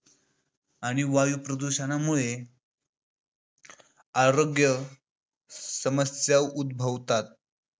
आणि वायू प्रदूषणामुळे आरोग्य समस्या उद्भवतात.